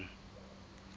sun